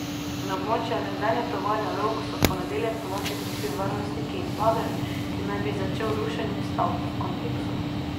Na območje nekdanje tovarne Rog so v ponedeljek ponoči prišli varnostniki in bager, ki naj bi začel rušenje stavb v kompleksu.